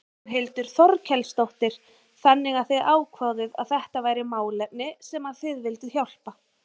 Þórhildur Þorkelsdóttir: Þannig að þið ákváðuð að þetta væri málefni sem að þið vilduð hjálpa?